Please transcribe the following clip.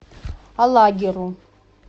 алагиру